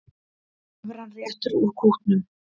Evran réttir út kútnum